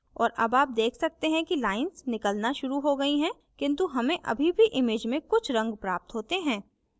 और अब आप देख सकते हैं कि lines निकलना शुरू हो गई हैं किन्तु हमें अभी भी image में कुछ रंग प्राप्त होते हैं